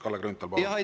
Kalle Grünthal, palun!